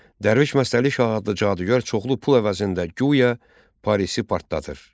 Dərviş Məstəli Şah adlı cadugər çoxlu pul əvəzində guya Parisi partladır.